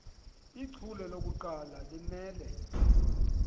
ichule lokuqala limele